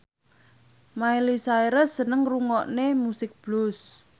Miley Cyrus seneng ngrungokne musik blues